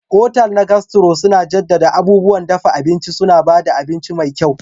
Otal na Gastro suna jaddada abubuwan dafa abinci, suna ba da abinci mai kyau.